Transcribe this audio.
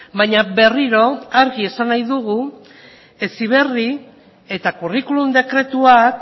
baina berriro argi esan nahi dugu heziberri eta curriculum dekretuak